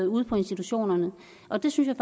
ude på institutionerne og det synes